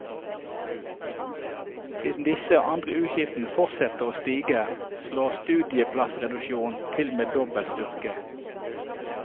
Siden disse og andre utgifter fortsetter å stige, slår studieplassreduksjonen til med dobbelt styrke.